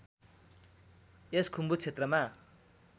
यस खुम्बु क्षेत्रमा